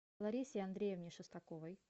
ларисе андреевне шестаковой